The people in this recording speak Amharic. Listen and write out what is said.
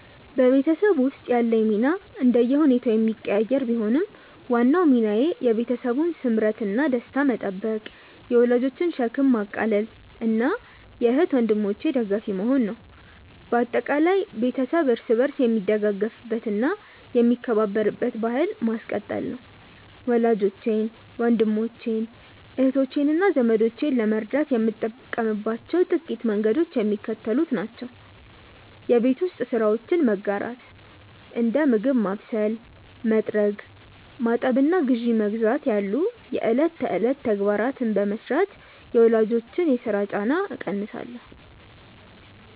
በቤተሰብ ውስጥ ያለኝ ሚና እንደየሁኔታው የሚቀያየር ቢሆንም፣ ዋናው ሚናዬ የቤተሰቡን ስምረትና ደስታ መጠበቅ፣ የወላጆችን ሸክም ማቃለልና የእህት ወንድሞቼ ደጋፊ መሆን ነው። በአጠቃላይ፣ ቤተሰብ እርስ በርስ የሚደጋገፍበትና የሚከባበርበትን ባሕል ማስቀጠል ነው። ወላጆቼን፣ ወንድሞቼን፣ እህቶቼንና ዘመዶቼን ለመርዳት የምጠቀምባቸው ጥቂት መንገዶች የሚከተሉት ናቸው የቤት ውስጥ ስራዎችን መጋራት፦ እንደ ምግብ ማብሰል፣ መጥረግ፣ ማጠብና ግዢ መግዛት ያሉ የዕለት ተዕለት ተግባራትን በመሥራት የወላጆችን የሥራ ጫና እቀንሳለሁ